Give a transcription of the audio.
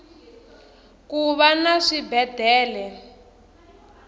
kuva na swibedele